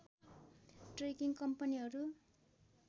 trekking कम्पनीहरू